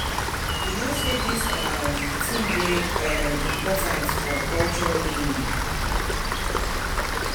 You no say dis um thing dey um important for our culture naming